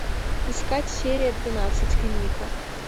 искать серия двенадцать клиника